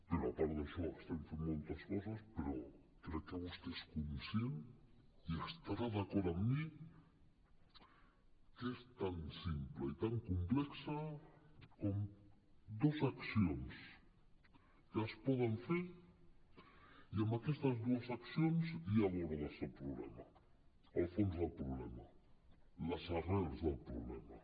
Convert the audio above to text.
però a part d’això estem fent moltes coses però crec que vostè és conscient i estarà d’acord amb mi que és tan simple i tan complex com dos accions que es poden fer i amb aquestes dues accions ja abordes el problema el fons del problema les arrels del problema